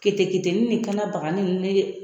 Kete ketenin ni kan na bagani ye